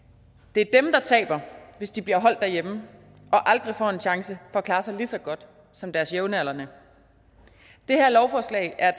det er dem der taber hvis de bliver holdt derhjemme og aldrig får en chance for at klare sig lige så godt som deres jævnaldrende det her lovforslag er